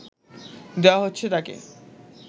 দেওয়া হচ্ছে তাকে